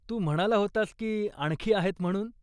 तू म्हणाला होतास की आणखीआहेत म्हणून ?